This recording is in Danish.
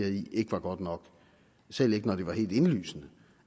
i ikke var godt nok selv ikke når det var helt indlysende